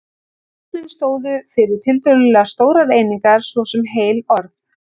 Táknin stóðu fyrir tiltölulega stórar einingar, svo sem heil orð.